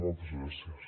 moltes gràcies